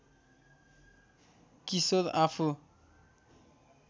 किशोर आफू